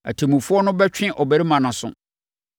Atemmufoɔ no bɛtwe ɔbarima no aso.